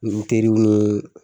N teriw ni